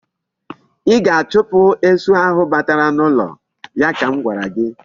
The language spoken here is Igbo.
I ga-achupu esu ahụ batara n'ụlọ. ya ka m gwara ya.